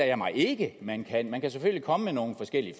jeg mig ikke man kan man kan selvfølgelig komme med nogle forskellige